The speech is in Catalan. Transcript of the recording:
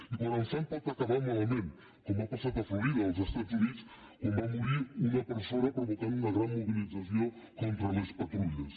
i quan en fan pot acabar malament com ha passat a florida als estats units quan va morir una persona cosa que va provocar una gran mobilització contra les patrulles